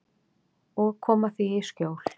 Og koma því í skjól.